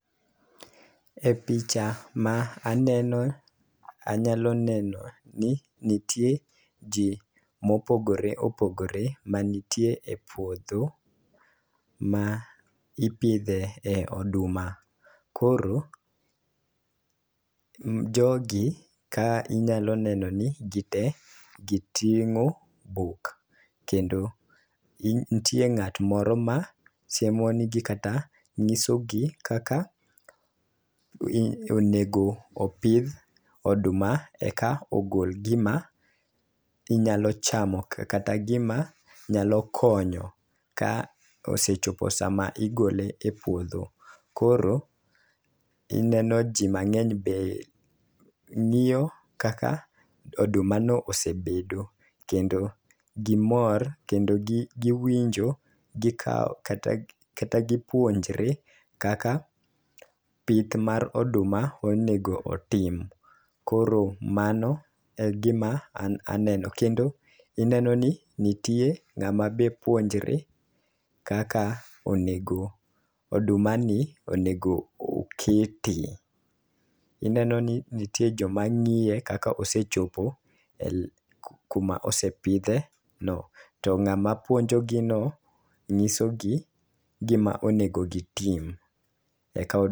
E picha ma aneno, anyalo neno ni nitie ji mopogore opogore manitie e puodho ma ipidhe e oduma. Koro, jogi ka inyalo neno ni gite giting'o buk. Kendo nitie ng'at moro ma siemo negi kata ng'isogi kaka onego opidh oduma eka ogol gima inyalo chamo kata gima nyalo konyo ka osechopo sama igole e puodho. Koro ineno ji mang'eny be ng'iyo kaka oduma no osebedo, kendo gimor kendo gi giwinjo. Gikawo kata gipuonjre kaka pith mar oduma onego otim. Koro mano e gima an aneno, kendo ineno ni nitie ng'ama be puonjre kaka onego oduma ni onego okete. Ineno ni nitie joma ng'iye kaka osechope kuma osepidhe no, to ng'ama puonjo gi no ng'iso gi gima onego gitim. Eka o.